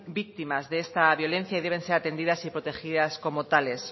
víctimas de esta violencia y deben ser atendidas y protegidas como tales